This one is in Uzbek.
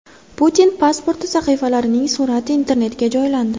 Putin pasporti sahifalarining surati Internetga joylandi.